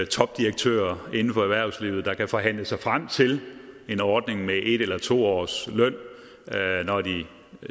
topdirektører inden for erhvervslivet der kan forhandle sig frem til en ordning med en eller to års løn når de